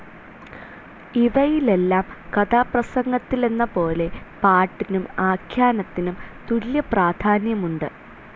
ഇവയിലെല്ലാം കഥാപ്രസംഗത്തിലെന്നപോലെ പാട്ടിനും ആഖ്യാനത്തിനും തുല്യ പ്രാധാന്യമുണ്ട്.